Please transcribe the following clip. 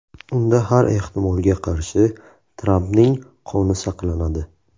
Unda har ehtimolga qarshi Trampning qoni saqlanadi.